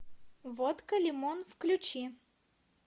водка лимон включи